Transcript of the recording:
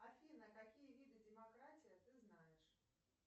афина какие виды демократия ты знаешь